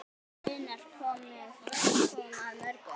Einar kom að mörgu.